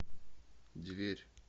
дверь